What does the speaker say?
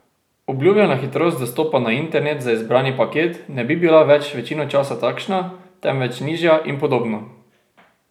Obljubljena hitrost dostopa na internet za izbrani paket ne bi bila več večino časa takšna, temveč nižja, in podobno.